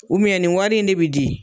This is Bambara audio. nin wari in de bi di.